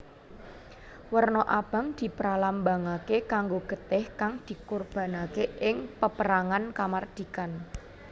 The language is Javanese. Werna abang dipralambangake kanggo getih kang dikorbanake ing peperangan kamardhikan